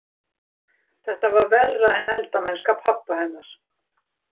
Þetta var verra en eldamennska pabba hennar.